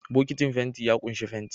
Bokitin fenti ya ƙunshi fenti